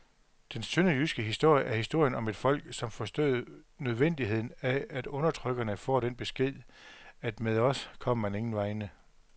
Den sønderjyske historie er historien om et folk, som forstod nødvendigheden af, at undertrykkerne får den besked, at med os kommer man ingen vegne.